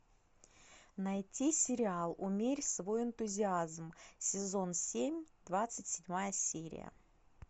найти сериал умерь свой энтузиазм сезон семь двадцать седьмая серия